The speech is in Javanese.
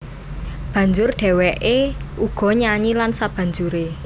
Banjur dhèwèké uga nyanyi lan sabanjuré